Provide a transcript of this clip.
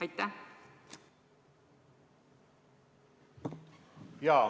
Aitäh!